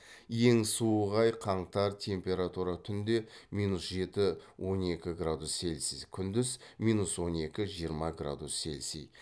ең суық ай қаңтар температура түнде минус жеті он екі градус цельсий күндіз он екі жиырма градус цельсии